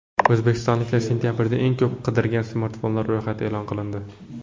O‘zbekistonliklar sentabrda eng ko‘p qidirgan smartfonlar ro‘yxati e’lon qilindi.